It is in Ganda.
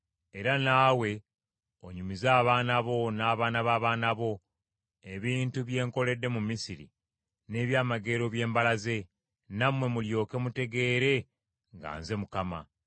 era naawe onyumize abaana bo, n’abaana b’abaana bo, ebintu bye nkoledde mu Misiri, n’ebyamagero bye mbalaze; nammwe mulyoke mutegeere nga nze Mukama .”